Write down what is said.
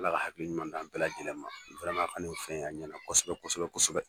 Ala ka hakili ɲuman di an bɛɛ lajɛlen ma, ɲɛna Kosɛbɛ kosɛbɛ